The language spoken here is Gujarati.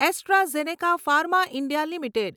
AstraZeneca pharma India limited